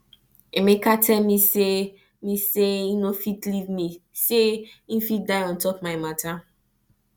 emeka tell me say me say e no fit leave me say im fit die on top my matter